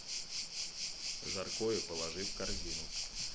жаркое положи в корзину